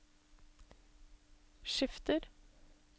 skifter